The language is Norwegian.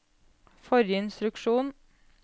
forrige instruksjon